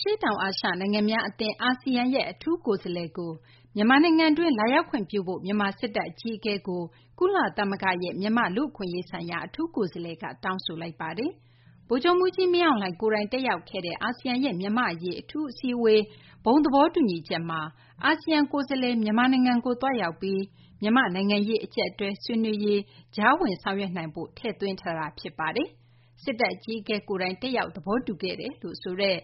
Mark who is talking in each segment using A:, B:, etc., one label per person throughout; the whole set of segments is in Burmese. A: ရှေ့တောင် အာရှ နိုင်ငံများ အသင်း အာဆီယံရဲ့ အထူးကိုယ်စားလှယ်ကို မြန်မာနိုင်ငံတွင်း လာရောက်ခွင့်ပြုဖို့ မြန်မာ စစ်တပ် အကြီးအကဲကို ကုလသမဂ္ဂရဲ့ မြန်မာ့ လူ့အခွင့်အရေးဆိုင်ရာ အထူးကိုယ်စားလှယ်က တောင်းဆိုလိုက်ပါတယ်။ ဗိုလ်ချုပ်မှူးကြီး မင်းအောင်လှိုင် ကိုယ်တိုင် တက်ရောက်ခဲ့တဲ့ အာဆီယံရဲ့ မြန်မာ့ အရေး အထူးအစည်းအဝေး ဘုံသဘောတူညီချက်မှာ အာဆီယံ ကိုယ်စားလှယ် မြန်မာနိုင်ငံကို သွားရောက်ပြီး မြန်မာ့ နိုင်ငံရေး အကြပ်အတည်း ဆွေးနွေးရေး ကြားဝင် ဆောင်ရွက်နိုင်ဖို့ ထည့်သွင်းထားတာ ဖြစ်ပါတယ်။ စစ်တပ် အကြီးအကဲ ကိုယ်တိုင် တက်ရောက် သဘောတူခဲ့တယ်လို့ ဆိုတဲ့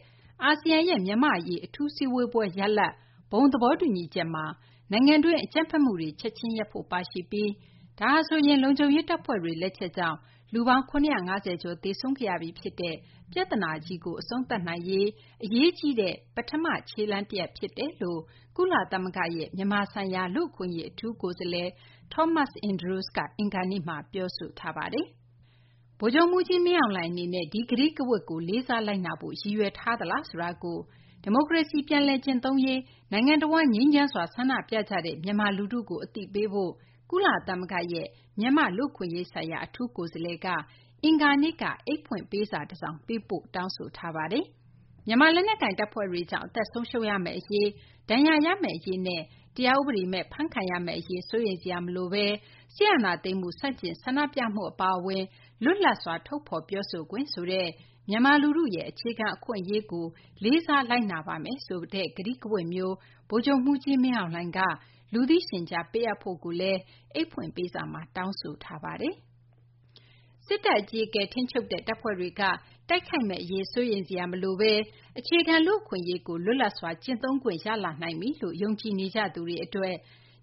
A: အာဆီယံရဲ့ မြန်မာ့ အရေး အထူးစည်းဝေးပွဲရလဒ် ဘုံသဘောတူညီချက်မှာ နိုင်ငံတွင်း အကြမ်းဖက်မှုတွေ ချက်ချင်းရပ်ဖို့ ပါရှိပြီး ဒါဟာဆိုရင် လုံခြုံရေး တပ်ဖွဲ့တွေ လက်ချက်ကြောင့် လူပေါင်း ၇၅၀ ကျော် သေဆုံးခဲ့ရပြီး ဖြစ်တဲ့ ပြဿနာကြီးကို အဆုံးသတ်နိုင်ရေး အရေးကြီးတဲ့ ပထမ ခြေလှမ်း တရပ် ဖြစ်ကြောင်း ကုလသမဂ္ဂရဲ့ မြန်မာဆိုင်ရာ လူ့အခွင့်အရေး အထူးကိုယ်စားလှယ် Thomas Andrews က အင်္ဂါနေ့မှာ ပြောပါတယ်။ ဗိုလ်ချုပ်မှူးကြီး မင်းအောင်လှိုင် အနေနဲ့ ဒီ ကတိကဝတ်ကို လေးစားလိုက်နာဖို့ ရည်ရွယ်ထားသလားဆိုတာကို ဒီမိုကရေစီ ပြန်လည် ကျင့်သုံးရေး နိုင်ငံတဝန်း ငြိမ်းချမ်းစွာ ဆန္ဒပြနေတဲ့ မြန်မာ လူထုကို အသိပေးဖို့ ကုလသမဂ္ဂရဲ့ မြန်မာ့ လူ့အခွင့်အရေးဆိုင်ရာ အထူးကိုယ်စားလှယ်က မြန်မာ စစ်ခေါင်းဆောင်ထံ အင်္ဂါနေ့က ပေးပို့တဲ့ အိတ်ဖွင့်ပေးစာမှာ ဖော်ပြထားပါတယ်။ မြန်မာ လက်နက်ကိုင် တပ်ဖွဲ့တွေကြောင့် အသက်ဆုံးရှုံးရမယ့်အရေး၊ ဒဏ်ရာ ရမယ့် အရေးနဲ့ တရားဥပဒေမဲ့ ဖမ်းခံရမယ့် အရေး စိုးရိမ်စရာ မလိုဘဲ စစ်အာဏာသိမ်းမှု ဆန့်ကျင် ဆန္ဒပြမှု အပါအဝင် လွတ်လပ်စွာ ထုတ်ဖော် ပြောဆိုခွင့် ဆိုတဲ့ မြန်မာ လူထုရဲ့ အခြေခံ လူ့အခွင့်အရေးကို လေးစားလိုက်နာပါမယ်ဆိုတဲ့ ကတိကဝတ်မျိုး ဗိုလ်ချုပ်မှူးကြီး မင်းအောင်လှိုင်က လူသိရှင်ကြား ပေးအပ်ဖို့လည်း အိတ်ဖွင့်ပေးစာမှာ တောင်းဆိုထားပါတယ်။ စစ်တပ် အကြီးအကဲ ထိန်းချုပ်တဲ့ တပ်ဖွဲ့တွေက တိုက်ခိုက်မယ့် အရေး စိုးရိမ်စရာ မလိုဘဲ အခြေခံ လူ့အခွင့်အရေးကို လွတ်လပ်စွာ ကျင့်သုံးခွင့် ရလာနိုင်ပြီလို့ ယုံကြည်နေကြသူတွေ အတွက်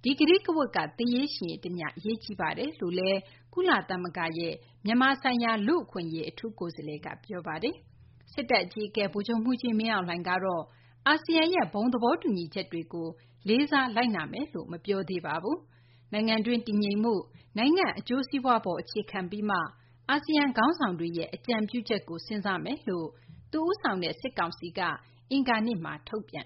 A: ဒီ ကတိကဝတ်က သေရေး ရှင်ရေး တမျှ အရေးကြီးနေတယ်လို့လည်း ကုလသမဂ္ဂရဲ့ အထူးကိုယ်စားလှယ်က ပြောဆိုထားပါတယ်။ စစ်တပ် အကြီးအကဲ ဗိုလ်ချုပ်မှူးကြီး မင်းအောင်လှိုင် ကတော့ အာဆီယံရဲ့ ဘုံသဘောတူညီချက်တွေကို လေးစား လိုက်နာမယ်လို့ မပြောသေးပါဘူး။ နိုင်ငံတွင်း တည်ငြိမ်မှု၊ နိုင်ငံ အကျိုးစီးပွား အပေါ်မှာ အခြေခံပြီးမှ အာဆီယံ ခေါင်းဆောင်တွေရဲ့ အကြံပြုချက်ကို စဉ်းစားမယ်လို့ သူ ဦးဆောင်တဲ့ စစ်ကောင်စီက အင်္ဂါနေ့မှာ ထုတ်ပြန်